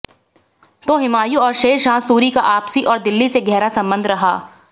तो हुमायूं और शेरशाह सूरी का आपसी और दिल्ली से गहरा संबंध रहा